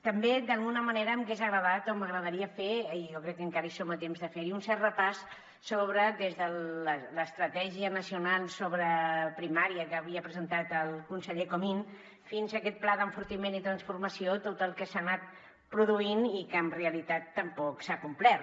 també d’alguna manera m’hagués agradat o m’agrada ria fer i jo crec que encara hi som a temps de fer ho un cert repàs des de l’estratègia nacional sobre primària que havia presentat el conseller comín fins a aquest pla d’enfortiment i transformació de tot el que s’ha anat produint i que en realitat tampoc s’ha complert